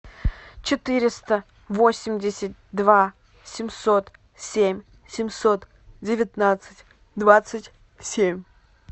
четыреста восемьдесят два семьсот семь семьсот девятнадцать двадцать семь